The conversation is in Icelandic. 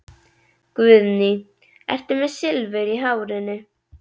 Guðný: Ertu með Silfur í hárinu?